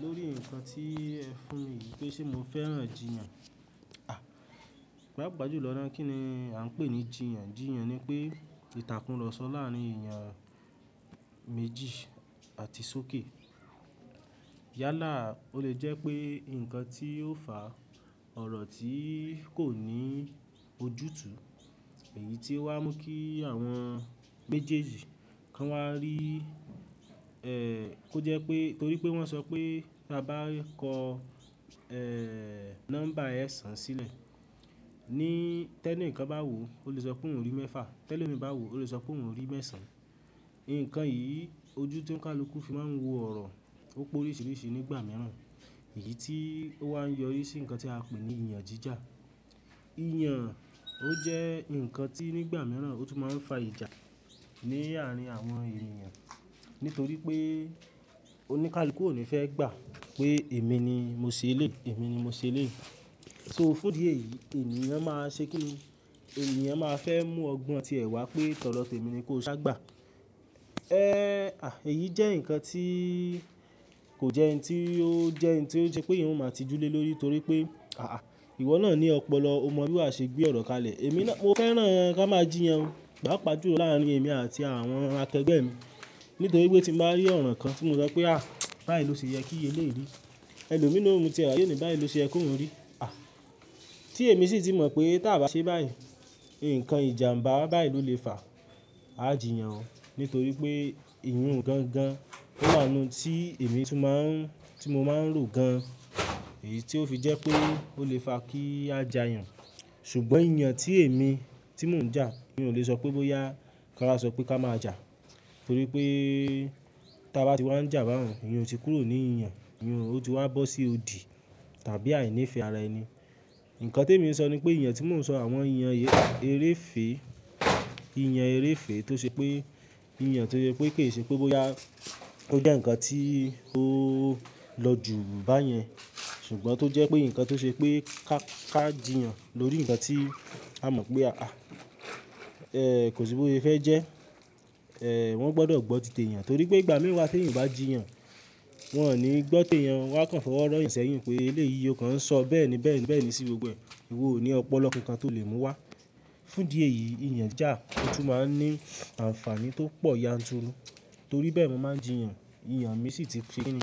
Lórí ǹkan tí ẹ fún mi wípé ṣé mo fẹ́ràn jìyàn à, pà pá jù lọ ná, kí ni a ń pè ní jìyàn? Jìyàn ni pé ìtàkùn ọ̀rọ̀ sọ láàárín ènìyàn méjì àti sókè. Yálà o le jẹ́ pé ǹkan tí ó fà ọ̀rọ̀ tí kò ní ojútùú, èyí tí ó wá ń mú kí àwọn méjèèjì kan wá rí, ẹ́, kó jẹ́ pé torí pé wọ́n sọ pé tá bá kọ ẹ́ nọ́mbà ẹ̀sán sílẹ̀, ní tẹ́ní ǹkan bá wò, o le sọ pé òun rí mẹ́fà, tẹ́lẹ̀ òmìnira bá wò, o le sọ pé òun rí mẹ́sàn. Ǹkan yìí ojú tó ń ka luku fi máa ń wo ọ̀rọ̀, ó po oríṣiríṣi nígbà mìíràn, èyí tí ó wá ń yọrí sí ǹkan tí a pè ní ìyàn jíjà. Ìyàn ó jẹ́ ǹkan tí nígbà mìíràn ó tún máa ń fa ìjà ní àárín àwọn ènìyàn nítorí pé oníkálukú ò ní fẹ́ gbà pé èmi ni mo ṣe elé, èmi ni mo ṣe elé. So fún di èyí ènìyàn máa ṣe kí, ènìyàn máa fẹ́ mú ọgbọ́n ti ẹ̀ wá pé tọ́ dọ tèmi ni kó sá gbà. Ẹ́, à, èyí jẹ́ ǹkan tí kò jẹ́ ẹni tí ó jẹ́ ẹni tí ó ṣe pé ìhun máa tijú lé lórí torí pé àáà ìwọ náà ní ọpọlọ, o mọ bí wa ṣe gbé ọ̀rọ̀ kalẹ̀. Èmi náà, mo fẹ́ràn kí a máa jìyàn gbà pa jù lọ láàrin èmi àti àwọn akẹgbẹ́ mi nítorí wípé tí mo bá rí ọ̀rọ̀ kan tí mo sọ pé à bá yìí ló ṣe yẹ kí iye lórí, ẹlòmíràn ò mú tirẹ̀ há ẹni bá yìí ló ṣe ẹ kó ń rí. À, tí èmi sì ti mọ̀ pé tí à bá ṣe báyìí, ǹkan ìjàǹbá bá yìí ló le fà, à jíyàn o nítorí pé ìhun gangan ó wà nínú tí èmi tún máa ń, tí mo máa ń rò gan an, èyí tí ó fi jẹ́ pé ó le fà kí a jà yàn. Ṣùgbọ́n ìyàn tí èmi tí mò ń jà, mi ò le sọ pé bóyá ká a sọ pé ká máa jà torí pé tí a bá ti wá ń jà bá ọ̀run, ìyun ti kúrò ní ìyàn, ìhun ó ti wá bọ́ sí odi tàbí àìní ìfẹ́ ara ẹni. Ǹkan tí èmi ó ń sọ ni pé ìyàn tí mò ń sọ àwọn ìyàn eré fè, ìyàn eré fè tó ṣe pé ìyàn tó jẹ pé kì í ṣe pé bóyá ó jẹ́ ǹkan tí ó lọ jù báyẹn ṣùgbọ́n tó jẹ́ pé ǹkan tó ṣe pé ká ká jìyàn lórí ǹkan tí a mọ̀ pé a a, ẹ́, kò sí bóyá ẹ fẹ́ jẹ́, ẹ wọ́n gbọdọ̀ gbọ́ tìtẹ̀ ìyàn torí pé ìgbà mìíràn tí ènìyàn bá jìyàn, wọn ò ní gbọ́ tèèyàn wá kan fọwọ́ rọ́ ẹ̀ sẹ́yìn pé eléyìí ọkàn ń sọ bẹ́ẹ̀ní bẹ́ẹ̀ní bẹ́ẹ̀ní sí gbogbo ẹ̀, ìwọ ò ní ọpọlọ kankan tó le mú wá. Fún di èyí ìyàn jà ó tún máa ń ní àǹfààní tó pọ̀ yanturu torí bẹ́ẹ̀ m9ó máa jìyàn, ìyàn mi sì ti ké ẹni,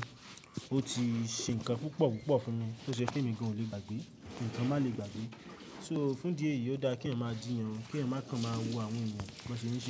ó ti ṣe ǹkan púpọ̀ púpọ̀ fún mi tó ṣe pé mi gan ò le gbàgbé, ǹkan má le gbàgbé. So fún di èyí ó dá kí èèyàn máa jìyàn, kí ẹ̀mẹkan máa wo àwọn ǹkan bí wọn ṣe ń ṣe.